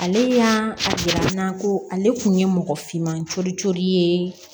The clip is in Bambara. Ale y'a jira n na ko ale kun ye mɔgɔ finman coolo codoli ye